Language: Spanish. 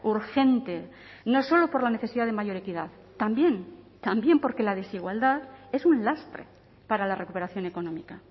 urgente no solo por la necesidad de mayor equidad también también porque la desigualdad es un lastre para la recuperación económica